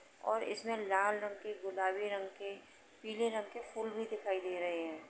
और इसमें लाल रंग के गुलाबी रंग के पीले रंग के फूल भी दिखाई दे रहे हैं।